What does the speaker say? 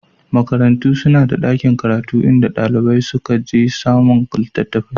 Makarantu suna da ɗakin karatu inda ɗalibai suka je samun littattafai